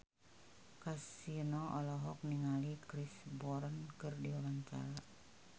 Kasino olohok ningali Chris Brown keur diwawancara